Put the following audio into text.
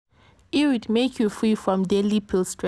iud make you free from daily pill stress.